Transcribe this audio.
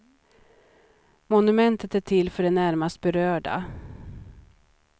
Monumentet är till för de närmast berörda.